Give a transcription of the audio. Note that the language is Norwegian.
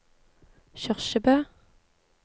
Kyrkjebø